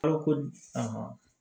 Balo ko